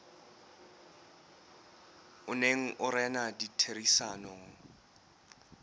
o neng o rena ditherisanong